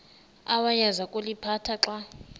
awayeza kuliphatha xa